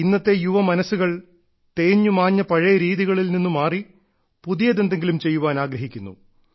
ഇന്നത്തെ യുവ മനസ്സുകൾ തേഞ്ഞുമാഞ്ഞ പഴയ രീതികളിൽ നിന്ന് മാറി പുതിയതെന്തെങ്കിലും ചെയ്യാൻ ആഗ്രഹിക്കുന്നു